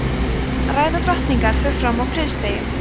ræða drottningar fer fram á prinsdegi